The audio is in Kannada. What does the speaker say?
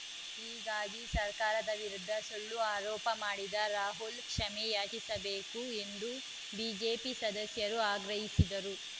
ಹೀಗಾಗಿ ಸರ್ಕಾರದ ವಿರುದ್ಧ ಸುಳ್ಳು ಆರೋಪ ಮಾಡಿದ ರಾಹುಲ್‌ ಕ್ಷಮೆಯಾಚಿಸಬೇಕು ಎಂದು ಬಿಜೆಪಿ ಸದಸ್ಯರು ಆಗ್ರಹಿಸಿದರು